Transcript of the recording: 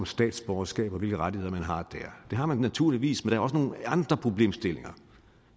statsborgerskab og hvilke rettigheder man har det har man naturligvis men der er også nogle andre problemstillinger